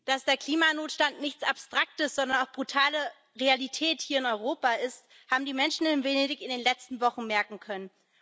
Dass der Klimanotstand nichts Abstraktes, sondern auch brutale Realität hier in Europa ist, haben die Menschen in Venedig in den letzten Wochen merken können.